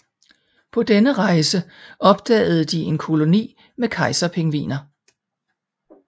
På denne rejse opdagede de en koloni med kejserpingviner